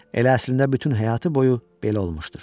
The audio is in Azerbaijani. Elə əslində bütün həyatı boyu belə olmuşdur.